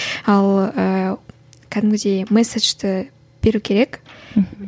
ал ыыы кәдімгідей месседжді беру керек мхм